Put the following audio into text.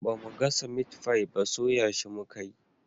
Bamu gasa mitfai ba soya shi muka yi